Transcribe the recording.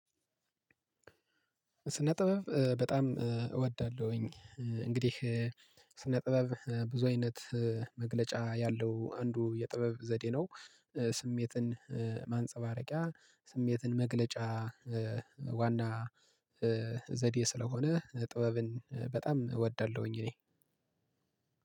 ስነ ጥበብ በጣም እወዳለሁኝ። እንግዲህ ስነ ጥበብ ብዙ አይነት መግለጫ ያለው አንዱ የጥበብ ዘዴ ነው። ስሜትን ማንጸባረቂያ ስሜትን መግለጫ ዋና ዘዴ ስለሆነ ጥበብን በጣም እወዳለሁኝ እኔ